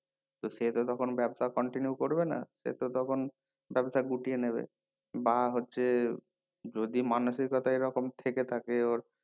তো সে তো তখন ব্যাবসা continue করবে না সে তো তখন ব্যাবসা গুটিয়ে নেবে বা হচ্ছে যদি মানুষের কথা এই রকম থেকে থাকে ওর